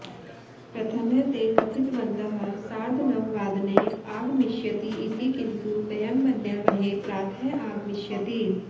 प्रथमः ते कथितवन्तः सार्धनववादने आगमिष्यति इति किन्तु वयं मन्यामहे प्रातः आगमिष्यति